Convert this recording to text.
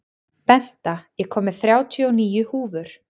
Benta, ég kom með þrjátíu og níu húfur!